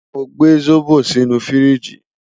Mo gbe zobo sinu firiji